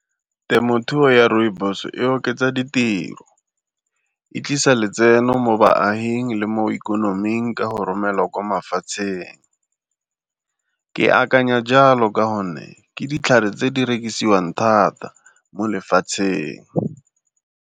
Temothuo ya rooibos e oketsa ditiro, e tlisa letseno mo baaging le mo ikonoming ka go romelwa kwa mafatsheng. Ke akanya jalo ka gonne ke ditlhare tse di rekisiwang thata mo lefatsheng.